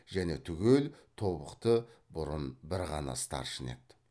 және түгел тобықты бұрын бір ғана старшын еді